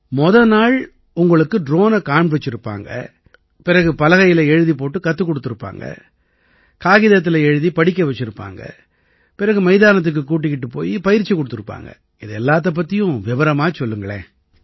முத நாள் உங்களுக்கு ட்ரோனை காண்பிச்சிருப்பாங்க பிறகு பலகையில எழுதிப் போட்டு கத்துக் குடுத்திருப்பாங்க காகிதத்தில எழுதி படிக்க வச்சிருப்பாங்க பிறகு மைதானத்துக்குக் கூட்டிக்கிட்டுப் போயி பயிற்சி குடுத்திருப்பாங்க இது எல்லாத்தைப் பத்தியும் விவரமா சொல்லுங்களேன்